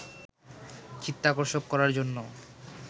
চিত্তাকর্ষক করার জন্য